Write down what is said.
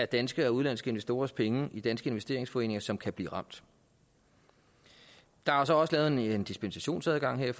danske og udenlandske investorers penge i danske investeringsforeninger som kan blive ramt der er så også lavet en dispensationsadgang her